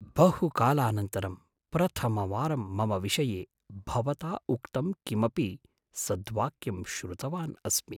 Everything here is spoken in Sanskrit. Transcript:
बहुकालानन्तरं प्रथमवारं मम विषये भवता उक्तं किमपि सद्वाक्यं श्रुतवान् अस्मि।